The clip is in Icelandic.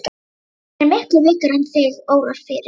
Hann er miklu veikari en þig órar fyrir.